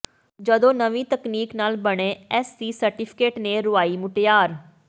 ਜਦੋਂ ਨਵੀਂ ਤਕਨੀਕ ਨਾਲ ਬਣੇ ਐੱਸਸੀ ਸਰਟੀਫਿਕੇਟ ਨੇ ਰੁਆਈ ਮੁਟਿਆਰ